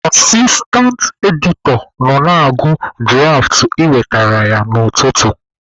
Asistantị editọ nọ na-agụ dụraft e wetere ya n'ụtụtụ.